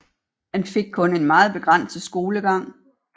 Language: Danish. Han fik kun en meget begrænset skolegang